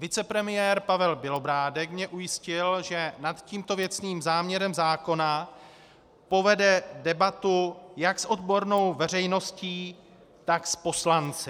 Vicepremiér Pavel Bělobrádek mě ujistil, že nad tímto věcným záměrem zákona povede debatu jak s odbornou veřejností, tak s poslanci.